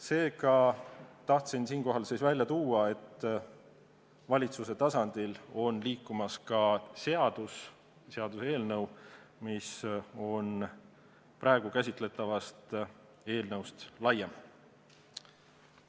Seega, tahtsin siinkohal välja tuua, et valitsuse tasandil on liikumas ka seaduseelnõu, mis on praegu käsitletavast eelnõust laiem.